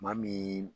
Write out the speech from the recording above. Maa min